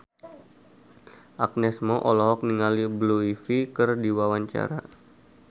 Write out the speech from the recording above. Agnes Mo olohok ningali Blue Ivy keur diwawancara